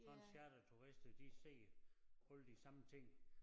Sådan charterturister de ser alle de samme ting